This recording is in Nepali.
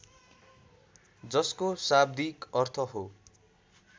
जसको शाब्दिक अर्थ हो